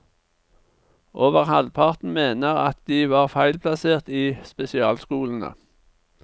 Over halvparten mener at de var feilplassert i spesialskolene.